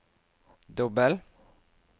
dobbel